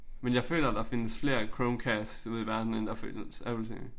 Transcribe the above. Men jeg føler der findes flere Chromecast ude i verden end der findes Apple tv